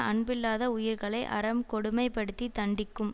அன்பில்லாத உயிர்களை அறம் கொடுமைப்படுத்தித் தண்டிக்கும்